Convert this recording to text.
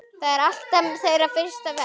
Það er alltaf þeirra fyrsta verk.